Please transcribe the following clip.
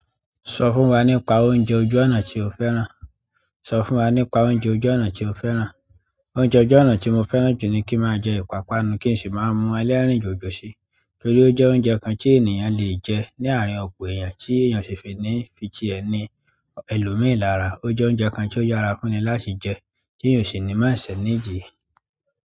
Sọ fún wa nípa oúnjẹ ojú ọ̀nà tí o fẹ́ràn. Sọ fún wa nípa oúnjẹ ojú ọ̀nà tí o fẹ́ràn. Oúnjẹ ojú ọ̀nà tí mo fẹ́ràn jù ni kí n máa jẹ ìpápánu kí n sì máa mú ẹlẹ́rìndòdò ṣi. Torí ó jẹ́ oúnjẹ kan tí ènìyàn le jẹ́ ní àárín ọ̀pọ̀ èèyàn, tí èèyàn si fi ní titi ẹ ni ẹlòmíràn. Ó jẹ́ oúnjẹ kan tí ó yára fúnni láti jẹ́, tí eyan sì ní má ìsẹ̀.